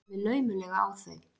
Horfi laumulega á þau.